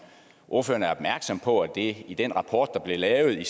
ordføreren er opmærksom på at det i den rapport der blev lavet af